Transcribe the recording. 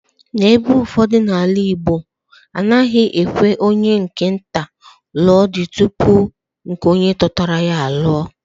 N'ebe ụfọdụ n'ala Igbo, a naghị ekwe onye nke nta lụo di tupu nke Totoro ya aluo.